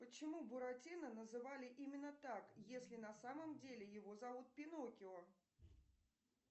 почему буратино называли именно так если на самом деле его зовут пиноккио